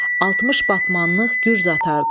60 batmanlıq gürz atardı.